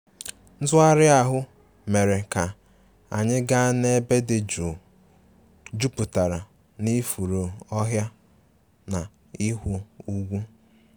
Ntugharị ahụ mere ka anyị gaa n'ebe dị jụụ jupụtara na ifuru ọhịa na ịhụ ugwu